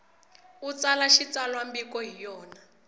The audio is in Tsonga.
u tsala xitsalwambiko hi yona